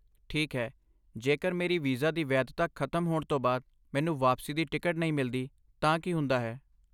ਠੀਕ ਹੈ, ਜੇਕਰ ਮੇਰੀ ਵੀਜ਼ਾ ਦੀ ਵੈਧਤਾ ਖਤਮ ਹੋਣ ਤੋਂ ਬਾਅਦ ਮੈਨੂੰ ਵਾਪਸੀ ਦੀ ਟਿਕਟ ਨਹੀਂ ਮਿਲਦੀ ਤਾਂ ਕੀ ਹੁੰਦਾ ਹੈ ?